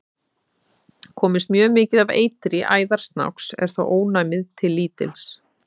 Komist mjög mikið af eitri í æðar snáks er þó ónæmið til lítils.